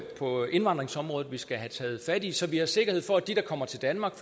på indvandringsområdet vi skal have taget fat i så vi har sikkerhed for at dem der kommer til danmark